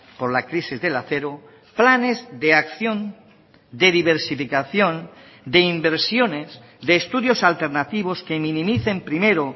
por la crisis del acero planes de acción de diversificación de inversiones de estudios alternativos que minimicen primero